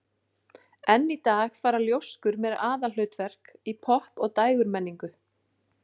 Enn í dag fara ljóskur með aðalhlutverk í popp- og dægurmenningu.